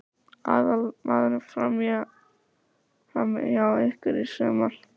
Verður hann aðalmaðurinn frammi hjá ykkur í sumar?